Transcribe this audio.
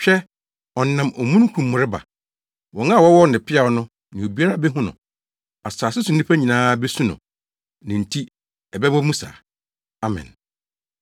Hwɛ, ɔnam omununkum mu reba. Wɔn a wɔwɔɔ no peaw no ne obiara behu no. Asase so nnipa nyinaa besu no; ne nti Ɛbɛba mu saa. Amen.